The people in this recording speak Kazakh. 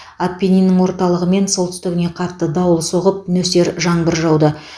аппениннің орталығы мен солтүстігіне қатты дауыл соғып нөсер жаңбыр жауды